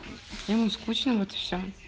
ему скучно вот и все